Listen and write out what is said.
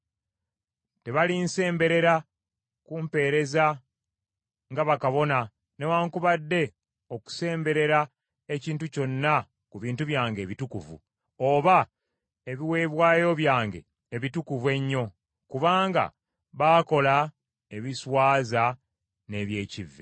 Tebalinsemberera kumpeereza nga bakabona newaakubadde okusemberera ekintu kyonna ku bintu byange ebitukuvu, oba ebiweebwayo byange ebitukuvu ennyo; kubanga baakola ebiswaza n’eby’ekivve.